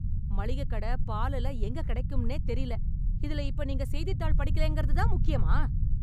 மளிகைக் கடை, பால் எல்லாம் எங்க கிடைக்கும்னே தெரியல, இதுல இப்ப நீங்க செய்தித்தாள் படிக்கலைன்றது தான் முக்கியமா?